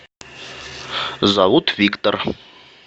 зовут виктор